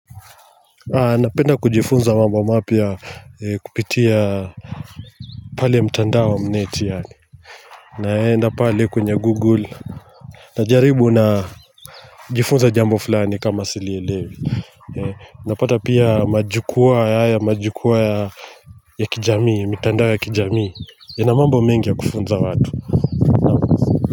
Napenda kujifunza mambo mapya kupitia pale mtandao wa mneti yaani naenda pale kwenye google Najaribu najifunza jambo fulani kama silielewi Napata pia majukwaa haya majukwaa ya kijami ya mitandao ya kijamii ina mambo mengi ya kufunza watu.